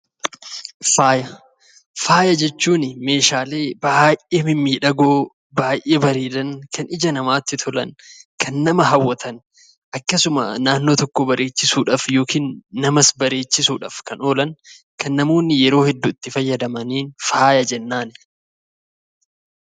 Faaya jechuun meeshaalee baay'ee mimmiidhagoo baay'ee bareedan kan ija namaatti tolan kan nama hawwatan akkasuma naannoo tokko bareechuudhaaf yookiis namas bareechuudhaaf kan oolan kan namoonni yeroo hedduu itti fayyadamaniin faaya jennaan.